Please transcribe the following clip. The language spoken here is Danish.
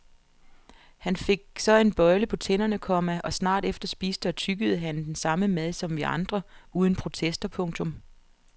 Han fik så en bøjle på tænderne, komma og snart efter spiste og tyggede han den samme mad som vi andre uden protester. punktum